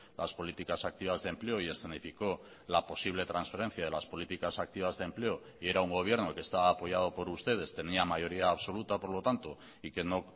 las políticas activas de empleo y escenificó la posible transferencia de las políticas activas de empleo y era un gobierno que estaba apoyado por ustedes tenía mayoría absoluta por lo tanto y que no